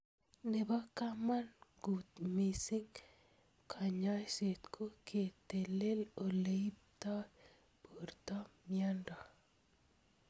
Nebo kamangut mising ing kanyoiset ko ketelel oleiptoi porto miondo.